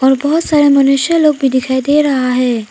और बहुत सारे मनुष्य लोग भी दिखाई दे रहा है।